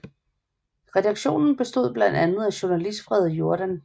Redaktionen bestod blandt andet af Journalist Frede Jordan